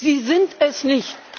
Sie sind es nicht!